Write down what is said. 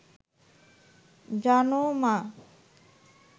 জানো মা